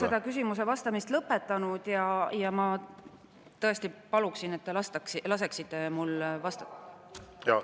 Ma ei ole küsimusele vastamist veel lõpetanud ja ma tõesti paluksin, et te laseksite mul vastata …